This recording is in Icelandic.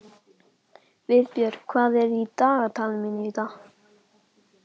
Vébjörn, hvað er í dagatalinu mínu í dag?